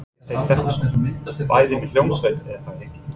Birgir Steinn Stefánsson: Bæði með hljómsveit er það ekki?